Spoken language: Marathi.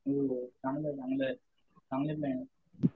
चांगलं चांगलं आहे